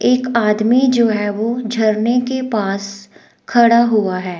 एक आदमी जो है वो झरने के पास खड़ा हुआ है।